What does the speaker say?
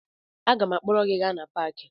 Aga m akpọrọ gị gaa na paakị